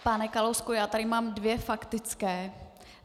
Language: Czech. Pane Kalousku, já tady mám dvě faktické.